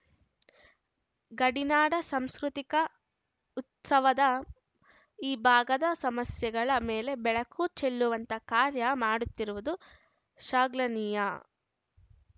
ಗಡಿನಾಡ ಸಾಂಸ್ಕೃತಿಕ ಉತ್ಸವದ ಈ ಭಾಗದ ಸಮಸ್ಯೆಗಳ ಮೇಲೆ ಬೆಳಕು ಚೆಲ್ಲುವಂತ ಕಾರ್ಯ ಮಾಡುತ್ತಿರುವುದು ಶಾಗ್ಲನೀಯ